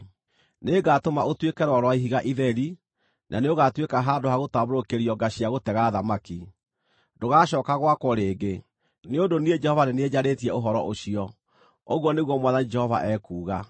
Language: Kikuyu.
Nĩngatũma ũtuĩke rwaro rwa ihiga itheri, na nĩũgatuĩka handũ ha gũtambũrũkĩrio nga cia gũtega thamaki. Ndũgacooka gwakwo rĩngĩ, nĩ ũndũ niĩ Jehova nĩ niĩ njarĩtie ũhoro ũcio, ũguo nĩguo Mwathani Jehova ekuuga.